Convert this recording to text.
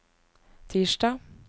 tirsdag